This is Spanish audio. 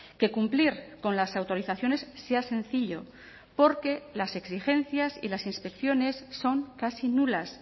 que cumplir con las autorizaciones sea sencillo porque las exigencias y las inspecciones son casi nulas